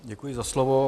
Děkuji za slovo.